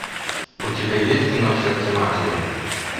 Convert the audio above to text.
у тебя есть кино сердце матери